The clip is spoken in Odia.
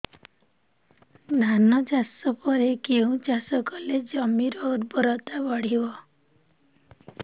ଧାନ ଚାଷ ପରେ କେଉଁ ଚାଷ କଲେ ଜମିର ଉର୍ବରତା ବଢିବ